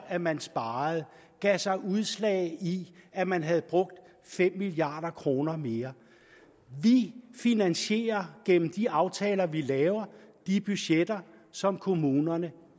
at man sparede gav sig udslag i at man havde brugt fem milliard kroner mere vi finansierer gennem de aftaler vi laver de budgetter som kommunerne